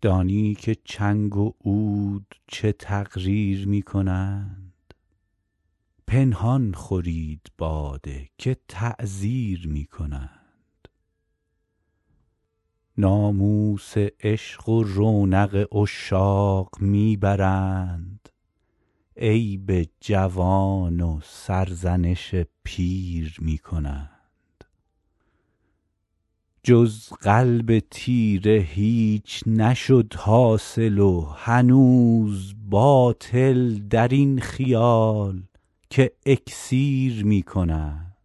دانی که چنگ و عود چه تقریر می کنند پنهان خورید باده که تعزیر می کنند ناموس عشق و رونق عشاق می برند عیب جوان و سرزنش پیر می کنند جز قلب تیره هیچ نشد حاصل و هنوز باطل در این خیال که اکسیر می کنند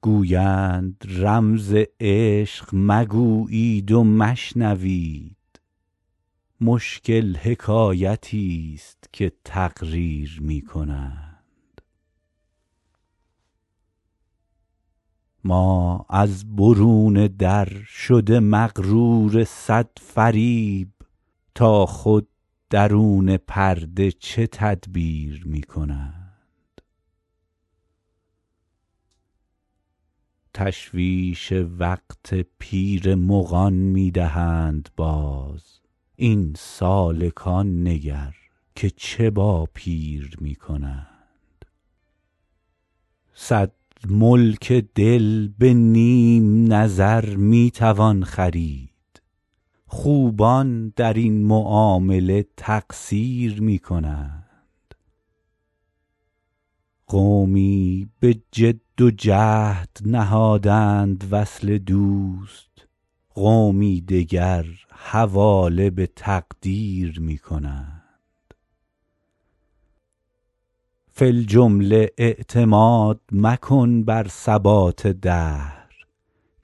گویند رمز عشق مگویید و مشنوید مشکل حکایتیست که تقریر می کنند ما از برون در شده مغرور صد فریب تا خود درون پرده چه تدبیر می کنند تشویش وقت پیر مغان می دهند باز این سالکان نگر که چه با پیر می کنند صد ملک دل به نیم نظر می توان خرید خوبان در این معامله تقصیر می کنند قومی به جد و جهد نهادند وصل دوست قومی دگر حواله به تقدیر می کنند فی الجمله اعتماد مکن بر ثبات دهر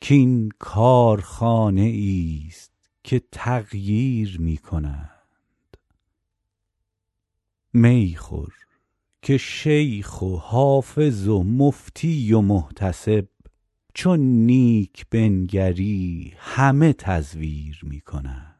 کـ این کارخانه ایست که تغییر می کنند می خور که شیخ و حافظ و مفتی و محتسب چون نیک بنگری همه تزویر می کنند